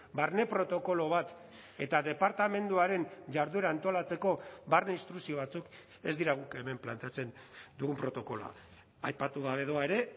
barne protokolo bat eta departamenduaren jarduera antolatzeko barne instrukzio batzuk ez dira guk hemen planteatzen dugun protokoloa aipatu gabe doa ere